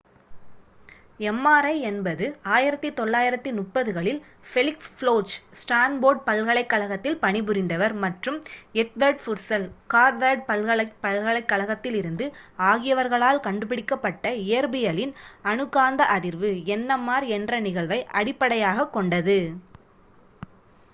mri என்பது 1930 களில் Felix Bloch Stanford பல்கலைக் கழகத்தில் பணி புரிந்தவர் மற்றும் எட்வர்ட் புர்செல் ஹார்வார்ட் பல்கலைக் கழகத்திலிருந்து ஆகியவர்களால் கண்டு பிடிக்கப் பட்ட இயற்பியலின் அணு காந்த அதிர்வு nmr என்ற நிகழ்வை அடிப்படையாகக் கொண்டது